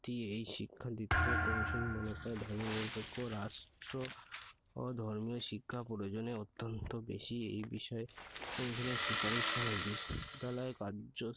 ভিত্তি এই বৃত্তি শিক্ষা দিতে হবে। commission মনে করে ধর্মনিরপেক্ষ রাষ্ট্র ও প্রয়োজনে ধর্মীয় শিক্ষা অত্যন্ত বেশি এই বিষয়ে commission এর সুপারিশ হলো বিশ্ববিদ্যালয়ে কার্য